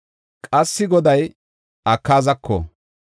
Qassika Goday Akaazako,